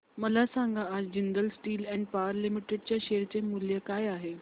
मला सांगा आज Jindal steel and power limited च्या शेअर चे मूल्य काय आहे